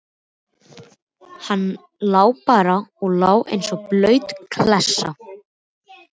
Hann lá bara og lá eins og blaut klessa.